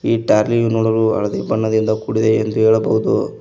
ಈ ಟಾರ್ಲಿಯು ನೋಡಲು ಹಳದಿ ಬಣ್ಣದಿಂದ ಕೂಡಿದೆ ಎಂದು ಹೇಳಬಹುದು.